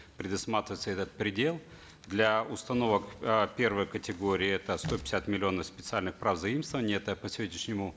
предусматривается этот предел для установок э первой категории это сто пятьдесят миллионов специальных прав заимствований это по сегодняшнему